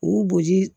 U boji